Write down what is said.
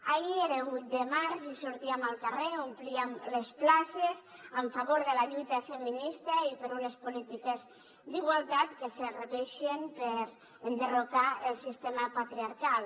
ahir era vuit de març i sortíem al carrer omplíem les places en favor de la lluita feminista i per unes polítiques d’igualtat que serveixen per enderrocar el sistema patriarcal